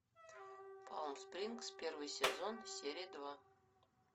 палм спрингс первый сезон серия два